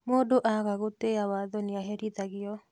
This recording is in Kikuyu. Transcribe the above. Mũndũ aaga gũtĩa watho nĩaherithagio